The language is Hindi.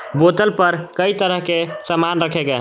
बोतल पर कई तरह के सामान रखे गए हैं।